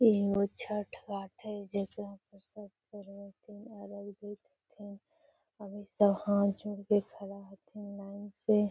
एहि वो छठ घाट है जिसमे सब करो हथीन अभी सब हाथ जोड़ कर खड़ा हथीन लाइन से |